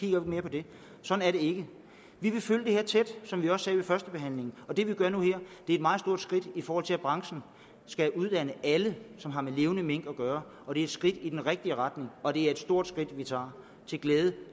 ikke mere på det sådan er det ikke vi vil følge det her tæt som vi også sagde ved førstebehandlingen og det vi gør nu er et meget stort skridt i forhold til at branchen skal uddanne alle som har med levende mink kan gøre og det er et skridt i den rigtige retning og det er et stort skridt vi tager til glæde